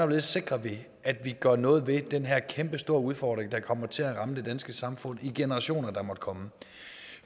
vi sikrer at vi gør noget ved den her kæmpestore udfordring der kommer til at ramme det danske samfund i generationer der måtte komme